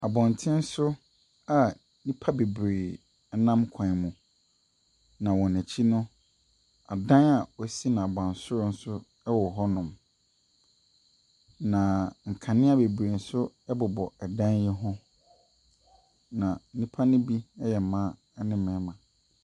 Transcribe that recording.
Abɔnten soa nnipa bebree nam kwan ho. Na wɔn akyi noo, adan a wɔasi no abasorosor wɔ hɔnom. Na nkanea nso bebree bobɔ dan ne ho.